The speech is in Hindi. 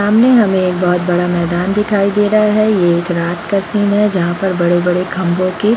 सामने हमे एक बहुत बड़ा मैदान दिखाई दे रहा है | ये एक रात का सीन है जहाँ पर बड़े-बड़े खम्भों की --